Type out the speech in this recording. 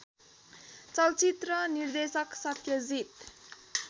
चलचित्र निर्देशक सत्यजीत